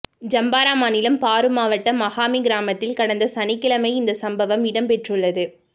Zamfara மாநிலம் பாரு மாவட்டம் மகாமி கிராமத்தில் கடந்த சனிக்கிழமை இந்த சம்பவம் இடம்பெற்றுள்ளது